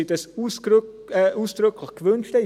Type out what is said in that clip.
Weil diese sich dies ausdrücklich gewünscht hatten.